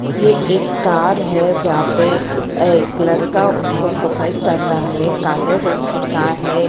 ये एक कार है जहां पे एक लड़का उसको सफाई कर रहा है काले रंग की कार है।